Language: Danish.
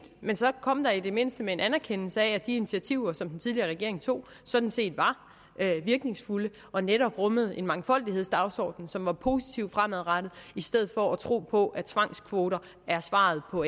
men så kom da i det mindste med en anerkendelse af at de initiativer som den tidligere regering tog sådan set var virkningsfulde og netop rummede en mangfoldighedsdagsorden som var positivt fremadrettet i stedet for at tro på at tvangskvoter er svaret på